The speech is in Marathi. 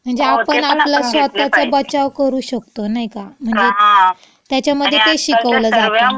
म्हणजे आपण आपला स्वत:चा करू शकतो, नाई का? म्हणजे त्याच्यामधे ते शिकवलं जातं.